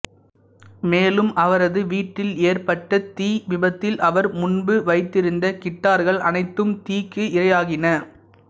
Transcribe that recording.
மேலும் அவரது வீட்டில் ஏற்பட்ட தீ விபத்தில் அவர் முன்பு வைத்திருந்த கிட்டார்கள் அனைத்தும் தீக்கு இறையாகின